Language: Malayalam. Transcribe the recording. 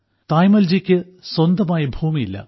തായമ്മാൾജിക്ക് സ്വന്തമായി ഭൂമിയില്ല